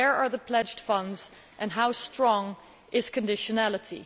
Where are the pledged funds and how strong is conditionality?